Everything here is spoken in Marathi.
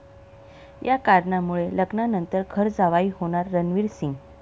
या कारणामुळे, लग्नानंतर घर जावई होणार रणवीर सिंग